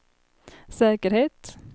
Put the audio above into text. säkerhet